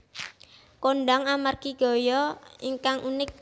kondhang amargi gaya ingkang unik